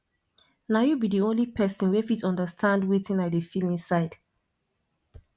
na you be di only person wey fit understand wetin i dey feel inside